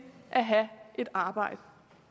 at have et arbejde